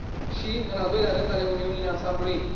și, în al doilea rând, ale Uniunii în ansamblul ei.